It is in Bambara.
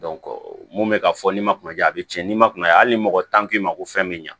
mun bɛ ka fɔ n'i ma kuna ja a bɛ tiɲɛ n'i ma kunaya hali ni mɔgɔ tan k'i ma ko fɛn bɛ ɲa